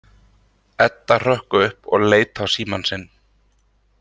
Edda hrökk upp og leit á símann sinn.